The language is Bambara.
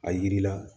A yiri la